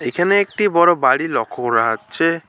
এখানে একটি বড় বাড়ি লক্ষ্য করা হচ্ছে।